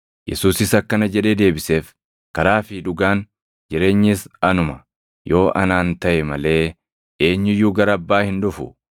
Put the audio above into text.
Yesuusis akkana jedhee deebiseef; “Karaa fi dhugaan, jireenyis anuma. Yoo anaan taʼe malee eenyu iyyuu gara Abbaa hin dhufu.